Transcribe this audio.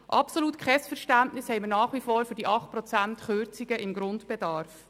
Nach wie vor absolut kein Verständnis haben wir für die 8-Prozent-Kürzung beim Grundbedarf.